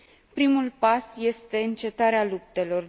Primul pas este încetarea luptelor.